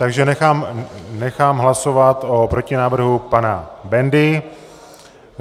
Takže nechám hlasovat o protinávrhu pana Bendy.